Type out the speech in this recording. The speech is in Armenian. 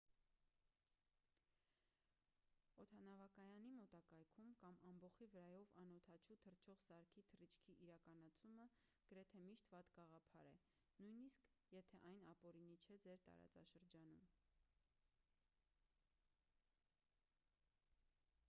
օդանավակայանի մոտակայքում կամ ամբոխի վրայով անօդաչու թռչող սարքի թռիչքի իրականացումը գրեթե միշտ վատ գաղափար է նույնիսկ եթե այն ապօրինի չէ ձեր տարածաշրջանում